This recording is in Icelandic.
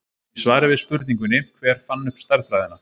Í svari við spurningunni Hver fann upp stærðfræðina?